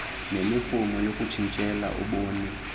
nemirhumo yokutshintshela ubunini